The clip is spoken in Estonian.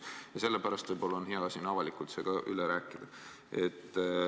Ja sellepärast on võib-olla hea see siin avalikult üle rääkida.